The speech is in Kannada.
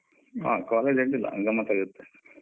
ಹ college ಅಡ್ಡಿಯಿಲ್ಲ ಗಮ್ಮತ್ ಆಗಿದೆ.